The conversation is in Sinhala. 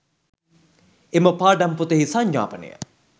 එම පාඩම් පොතෙහි සංඥාපනය